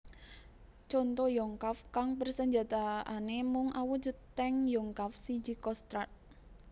Conto Yonkav kang persenjataané mung awujud tank Yonkav siji Kostrad